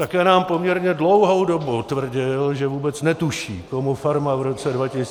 Také nám poměrně dlouhou dobu tvrdil, že vůbec netuší, komu farma v roce 2012 patřila.